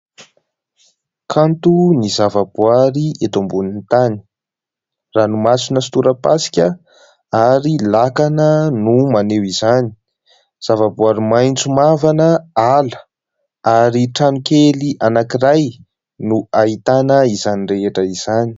Kanto ny zavaboary eto ambonin'ny tany ranomasina sy torapasika ary lakana no maneho izany. Zavaboary maitso mavana, ala ary trano kely anankiray no ahitana izany rehetra izany.